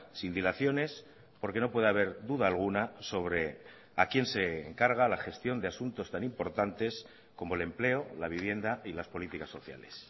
sin dilaciones porque no puede haber duda alguna sobre a quién se encarga la gestión de asuntos tan importantes como el empleo la vivienda y las políticas sociales